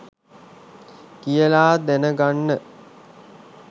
කියලා දැන ගන්න